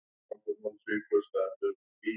Æfir aldrei daginn fyrir leik.